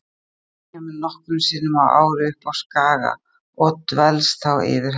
Magga kemur nokkrum sinnum á ári upp á Skaga og dvelst þá yfir helgi.